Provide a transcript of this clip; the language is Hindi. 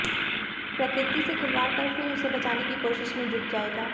प्रकृति से खिलवाड़ कर फिर उसे बचाने की कोशिश में जुट जाएगा